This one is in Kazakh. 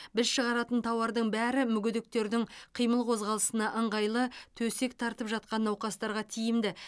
біз шығаратын тауардың бәрі мүгедектердің қимыл қозғалысына ыңғайлы төсек тартып жатқан науқастарға тиімді